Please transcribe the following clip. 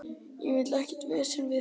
Ég vil ekkert vesen við þig.